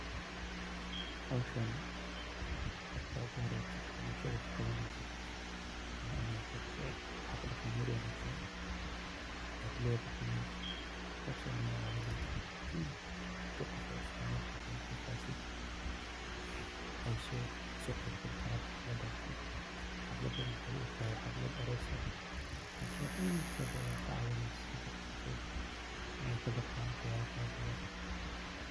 Howshani marka ugu horeeso o bulshada u qabanesid wa inad leedahay hab dhaqan wanaagsan oo bulshada so jiidanaya iney kaso qeyb galaan, waxey u egtahay xaflad aroos ah taso wax laga baran karo sida dhaqanka.